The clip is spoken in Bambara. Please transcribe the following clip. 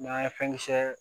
N'an ye fɛn kisɛ